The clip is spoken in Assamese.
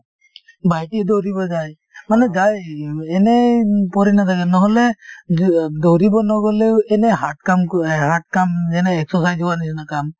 ভাইটিয়ে দৌৰিব যায় । মানে যায় এনেই পৰি নাথাকে নহলে দ দৌৰিব নহলেও এনেই hard কাম ক hard কাম যেনে exercise হোৱাৰ নিছিনা কাম,